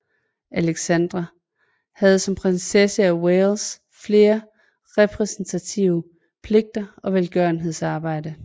Alexandra havde som prinsesse af Wales flere repræsentative pligter og velgørenhedsarbejde